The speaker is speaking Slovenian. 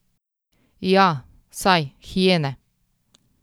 Ja, saj, hijene ...